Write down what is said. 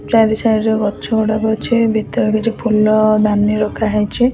ଚାରି ସାଇଟ୍ ରେ ଗଛ ଗୁଡାକ ଅଛି ଭିତରେ କିଛି ଫୁଲ ଦାନୀ ରଖା ହେଇଛି।